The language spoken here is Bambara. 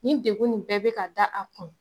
Nin degun nin bɛɛ be ka da a kun